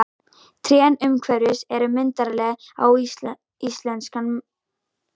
Trén umhverfis eru myndarleg á íslenskan mælikvarða, enda eru þau elstu yfir fjörutíu ára gömul.